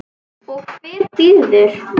Og hver býður?